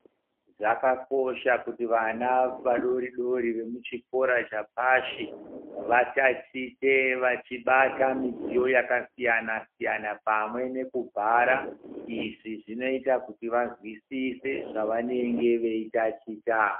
Zvakakosha kuti vana vadoridori vemuchikora chepashi vatatiche vachibata midziyo yakasiyanasiyana, pamwe nekubhara. Izvi zvinoita kuti vanzwisise zvavanenge veitaticha.